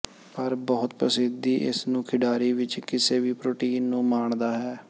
ਪਰ ਬਹੁਤ ਪ੍ਰਸਿੱਧੀ ਇਸ ਨੂੰ ਖਿਡਾਰੀ ਵਿੱਚ ਕਿਸੇ ਵੀ ਪ੍ਰੋਟੀਨ ਨੂੰ ਮਾਣਦਾ ਹੈ